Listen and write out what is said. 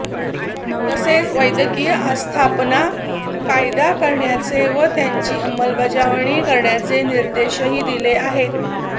तसेच वैद्यकीय आस्थापना कायदा करण्याचे व त्याची अंमलबजावणी करण्याचे निर्देशही दिले आहेत